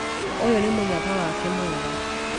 Ũyũ nĩ mũnyaka wake mwega